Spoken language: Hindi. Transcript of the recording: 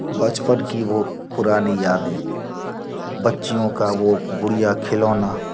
बचपन की वो पुरानी यादें बच्चीयों का वो गुड़िया-खिलौना।